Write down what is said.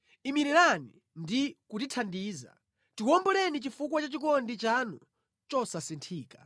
Imirirani ndi kutithandiza, tiwomboleni chifukwa cha chikondi chanu chosasinthika.